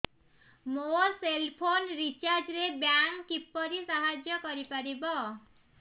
ମୋ cell phone recharge ରେ bank କିପରି ସାହାଯ୍ୟ କରିପାରିବ